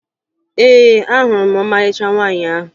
Ee, ahụrụ m ọmarịcha nwaanyị ahụ